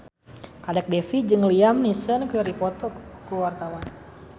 Kadek Devi jeung Liam Neeson keur dipoto ku wartawan